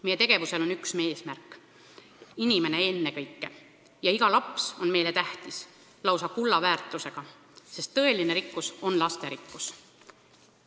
Meie tegevusel olgu üks eesmärk: ennekõike inimene, eriti iga laps, on meile tähtis, lausa kulla väärtusega, sest tõeline rikkus on lasterikkus.